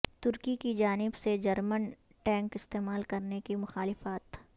ترکی کی جانب سے جرمن ٹینک استعمال کرنے کی مخالفت